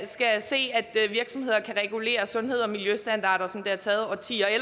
skal se at virksomheder kan regulere sundheds og miljøstandarder som det har taget årtier at